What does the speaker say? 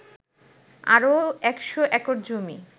আরও ১০০ একর জমি